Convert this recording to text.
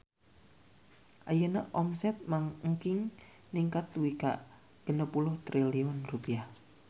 Ayeuna omset Mang Engking ningkat dugi ka 60 triliun rupiah